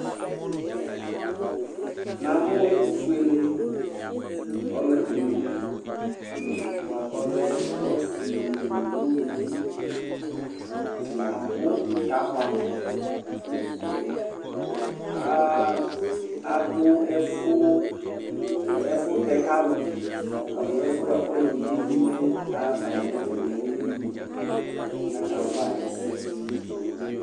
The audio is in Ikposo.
Namʋ ɛtʋfuele ɔlʋɛdini bʋakʋ ɔlɛ ɔsi nʋ ʋlʋvi atani abʋ kʋ abɛmʋ adʋ ɛfʋtɛ kʋ alʋ alo ɛfʋyɛ bʋkʋ ɔlɔdi kebui mɛ axafayi nʋ ɛfɛ ɔmemli kʋ akawa ɛsɛ